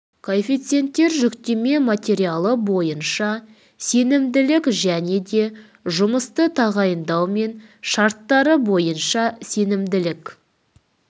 коэффициенттер жүктеме материал бойынша сенімділік және де жұмысты тағайындау мен шарттары бойынша сенімділік